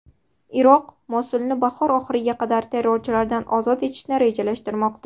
Iroq Mosulni bahor oxiriga qadar terrorchilardan ozod etishni rejalashtirmoqda.